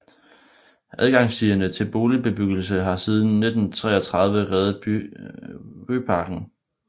Adgangsstierne til boligbebyggelsen har siden 1933 heddet Ryparken